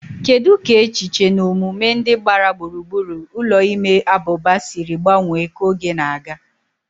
Kedu ka echiche na omume ndị gbara gburugburu ụlọ ime abụba siri gbanwee ka oge na-aga?